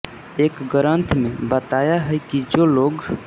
एक ग्रन्थ में बताया है कि जो लोग